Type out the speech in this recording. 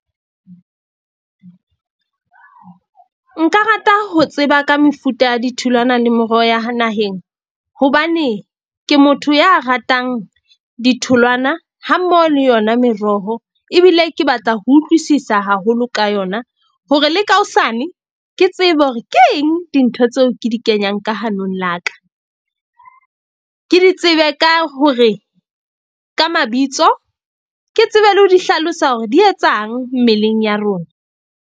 Nka rata ho tseba ka mefuta ya ditholwana le meroho ya ha naheng. Hobane ke motho ya ratang ditholwana ha mmoho le yona meroho. Ebile ke batla ho utlwisisa haholo ka yona. Hore le ka hosane ke tsebe hore ke eng dintho tseo ke di kenyang ka hanong la ka. Ke di tsebe ka hore ka mabitso ke tsebe le ho di hlalosa hore di etsang mmeleng ya rona.